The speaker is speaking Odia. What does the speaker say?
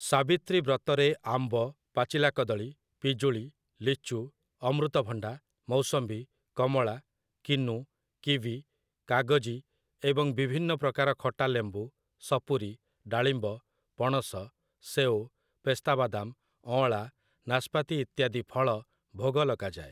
ସାବିତ୍ରୀ ବ୍ରତରେ ଆମ୍ବ, ପାଚିଲା କଦଳୀ, ପିଜୁଳି, ଲିଚୁ, ଅମୃତଭଣ୍ଡା, ମୌସମ୍ବୀ, କମଳା, କିନୁ, କିୱି, କାଗଜି ଏବଂ ବିଭିନ୍ନ ପ୍ରକାର ଖଟା ଲେମ୍ବୁ, ସପୁରୀ, ଡାଳିମ୍ବ, ପଣସ, ସେଓ, ପେସ୍ତାବାଦାମ, ଅଁଳା, ନାସ୍ପାତି ଇତ୍ୟାଦି ଫଳ ଭୋଗ ଲଗାଯାଏ ।